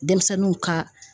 Denmisɛnninw ka